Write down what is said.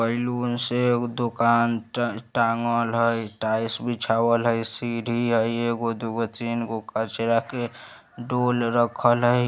बैलून से एगो दुकान टन टाँगल हई | टाईल्स बिछावल हई सीढ़ी हई एगो दुगो तिनगो कचड़ा के डोल रखल हई |